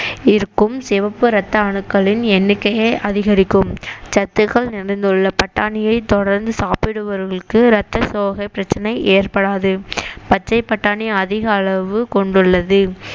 இருக்கும் சிவப்பு இரத்த அணுக்களின் எண்ணிக்கையை அதிகரிக்கும் சத்துக்கள் நிறைந்துள்ள பட்டாணியை தொடர்ந்து சாப்பிடுபவர்களுக்கு ரத்த சோகை பிரச்சனை ஏற்படாது பச்சை பட்டாணி அதிக அளவு கொண்டுள்ளது